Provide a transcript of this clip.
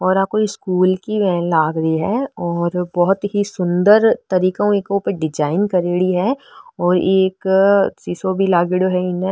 और आ कोई स्कूल की वैन लाग री है और बहोत ही सुन्दर तरीको की डिजाइन करेडी है और एक सीसो भी लागेड़ो है इमे।